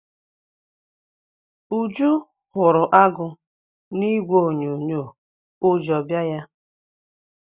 Uju hụrụ agụ na ìgwè onyonyo ụjọ bịa ya.